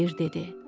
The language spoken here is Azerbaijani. Xeyir dedi.